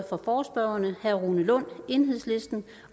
for forespørgerne herre rune lund enhedslisten